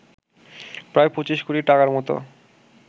প্রায় ২৫ কোটি টাকার মত